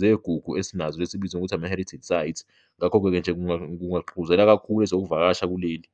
zegugu esinazo esibizwa ngokuthi ama-heritage site, ngakho-ke nje kungagqugquzela kakhulu ezokuvakasha kuleli.